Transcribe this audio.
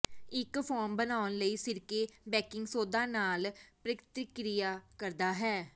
ਇੱਕ ਫੋਮ ਬਣਾਉਣ ਲਈ ਸਿਰਕੇ ਬੈਕਿੰਗ ਸੋਦਾ ਨਾਲ ਪ੍ਰਤੀਕ੍ਰਿਆ ਕਰਦਾ ਹੈ